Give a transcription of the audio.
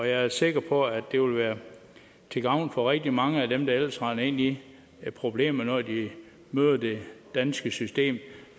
jeg er sikker på at det vil være til gavn for rigtig mange af dem der ellers render ind i problemer når de møder det danske system